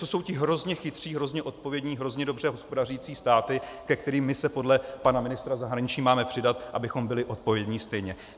To jsou ti hrozně chytří, hrozně odpovědní, hrozně dobře hospodařící státy, ke kterým my se podle pana ministra zahraničí máme přidat, abychom byli odpovědní stejně.